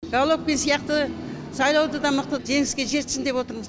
головкин сияқты сайлауды да мықты жеңіске жетсін деп отырмыз